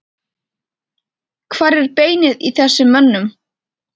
Hvar er beinið í þessum mönnum?